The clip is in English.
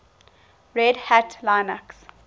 red hat linux